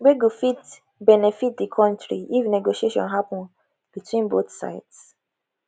wey go fit benefit di country if negotiation happun between both sides